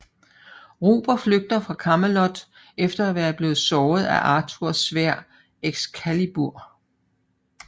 Ruber flygter fra Camelot efter at være blevet såret af Arthurs sværd Excalibur